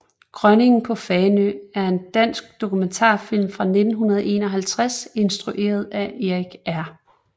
Grønningen på Fanø er en dansk dokumentarfilm fra 1951 instrueret af Erik R